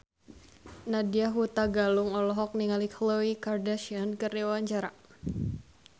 Nadya Hutagalung olohok ningali Khloe Kardashian keur diwawancara